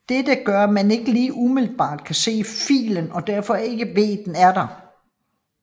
Dette gør at man ikke lige umiddelbart kan se filen og derfor ikke ved den er der